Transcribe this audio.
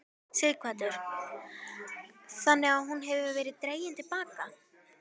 Sighvatur: Þannig að hún hefur verið dregin til baka?